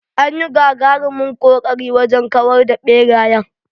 Anyi gagarumin ƙoƙari wajen kawar da ɓerayen.